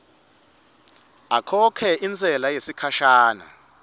akhokhe intsela yesikhashana